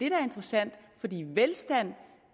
er interessant fordi velstand